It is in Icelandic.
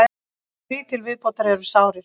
Þrír til viðbótar eru sárir